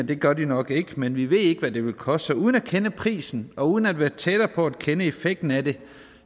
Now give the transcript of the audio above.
det gør de nok ikke men vi ved ikke hvad det vil koste og uden at kende prisen og uden at være tættere på at kende effekten af det